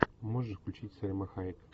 можешь включить сальма хайек